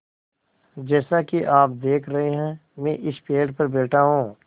जैसा कि आप देख रहे हैं मैं इस पेड़ पर बैठा हूँ